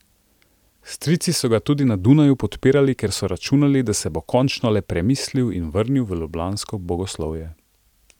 Strici so ga tudi na Dunaju podpirali, ker so računali, da se bo končno le premislil in vrnil v ljubljansko bogoslovje.